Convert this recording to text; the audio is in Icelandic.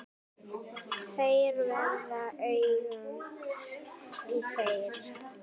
Þeir verða augun í þér.